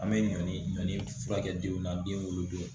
An bɛ ɲɔn furakɛ denw na den wolo don